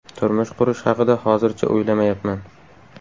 Turmush qurish haqida hozircha o‘ylamayapman.